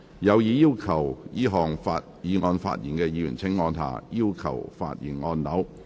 有意就這項議案發言的議員請按下"要求發言"按鈕。